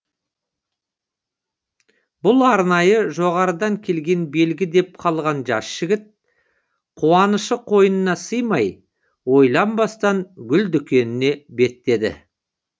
бұл арнайы жоғарыдан келген белгі деп қалған жас жігіт қуанышы қойнына сыймай ойланбастан гүл дүкеніне беттеді